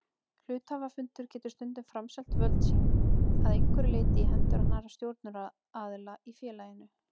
Hluthafafundur getur stundum framselt völd sín að einhverju leyti í hendur annarra stjórnunaraðila í félaginu.